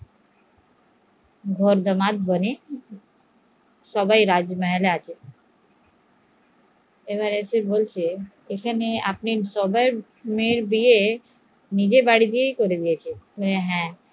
রাজমহলে আছে, সবাই নিজে বাড়ির বিয়ে রাজাই করে দিয়েছে